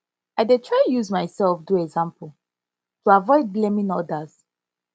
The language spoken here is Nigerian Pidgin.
i dey try use myself do example to avoid blaming odas